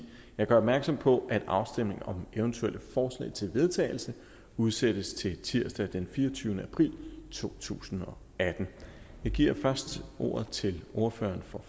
jeg gør opmærksom på at afstemning om eventuelle forslag til vedtagelse udsættes til tirsdag den fireogtyvende april to tusind og atten jeg giver først ordet til ordføreren for